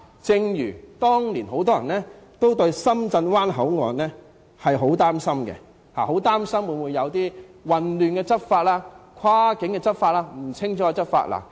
正如當年很多人也對深圳灣口岸很擔心，恐怕會有混亂和不清不楚的跨境執法情況。